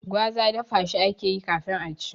Gwaza dafa shi akeyi kafin a ci